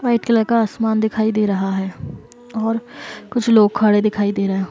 White colour का आसमान दिखाय दे रहा है। और कुछ लोग खड़े दिखाइ दे रहे हैं।